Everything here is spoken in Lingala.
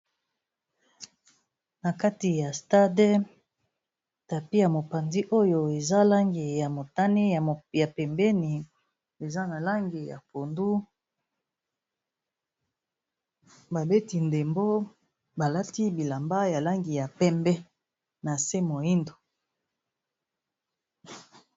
Na kati ya stade, tapis ya mopanzi oyo eza langi ya motane, ya pembeni eza na langi ya pondu . Babeti ndembo ba lati bilamba ya langi ya pembe na se moyindo .